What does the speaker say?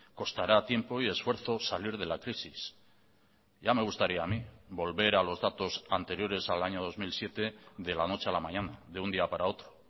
costará tiempo y esfuerzo salir de la crisis ya me gustaría a mí volver a los datos anteriores al año dos mil siete de la noche a la mañana de un día para otro